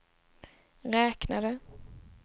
räknade